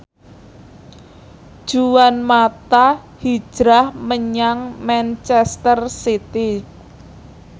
Juan mata hijrah menyang manchester city